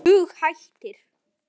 Dug hættir.